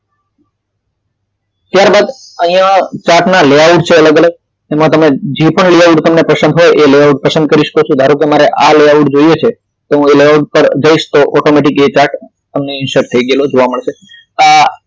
ત્યારબાદ chart ના layout છે અલગ અલગ એમાં જે પણ તમને layout તમને પસંદ પડે તે layout પસંદ કરી શકો છો ધારો કે મારે આ layout જોઈએ છે તો એના પર જઈશ તો automatic એ chart insert થઈ ગયેલો જોવા મળે છે આ